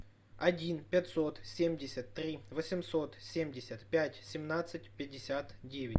один пятьсот семьдесят три восемьсот семьдесят пять семнадцать пятьдесят девять